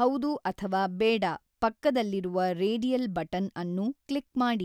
ಹೌದು ಅಥವಾ ಬೇಡ ಪಕ್ಕದಲ್ಲಿರುವ ರೇಡಿಯಲ್ ಬಟನ್ ಅನ್ನು ಕ್ಲಿಕ್ ಮಾಡಿ.